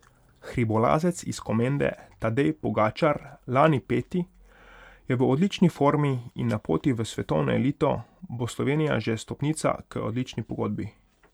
Hribolazec iz Komende Tadej Pogačar, lani peti, je v odlični formi in na poti v svetovno elito bo Slovenija že stopnica k odlični pogodbi.